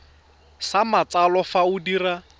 sa matsalo fa o dira